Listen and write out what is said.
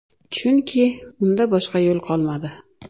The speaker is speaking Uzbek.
Chunki unda boshqa yo‘l qolmadi.